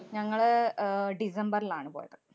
ഞങ്ങള് അഹ് ഡിസംബറിലാണ് പോയത്.